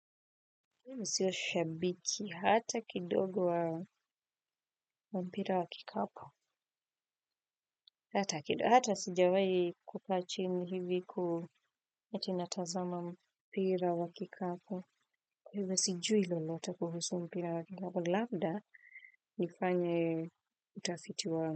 Mimi sio shabiki hata kidogo wa mpira wa kikapu. Hata kidogo. Hata sijawahi kukaa chini hivi ati natazama mpira wa kikapu. Kwa hivyo sijui lolote kuhusu mpira wa kikapu. Labda nifanye utafiti wangu.